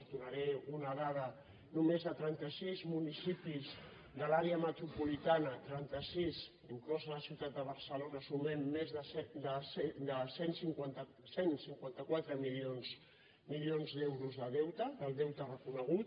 en donaré una dada només a trenta sis municipis de l’àrea metropolitana trenta sis inclosa la ciutat de barcelona sumem més de cent i cinquanta quatre milions d’euros de deute del deute reconegut